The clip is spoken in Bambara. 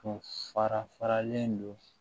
Tun fara faralen do